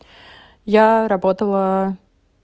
я работала